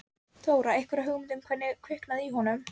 Þóra: Einhverja hugmynd um hvernig kviknaði í honum?